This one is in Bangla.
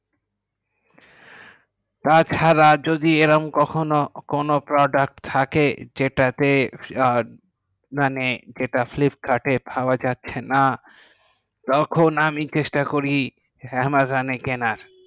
তাছাড়া যদি এইরম যখন কোনো product থাকে যেটাকে মানে flipkart পাওয়া যায় না। তখন আমি চেষ্টা করি amazon এ কেনা